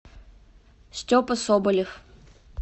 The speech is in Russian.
степа соболев